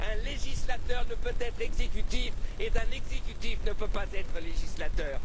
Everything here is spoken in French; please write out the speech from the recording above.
Un législateur ne peut pas être exécutif et un exécutif ne peut pas être législateur.